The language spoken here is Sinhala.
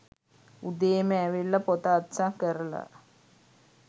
උදේම ඇවිල්ල පොත අත්සන් කරල